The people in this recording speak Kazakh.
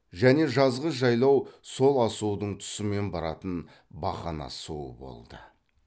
және жазғы жайлау сол асудың тұсымен баратын бақана суы болды